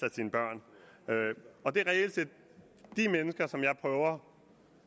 af sine børn det er reelt set de mennesker vegne jeg prøver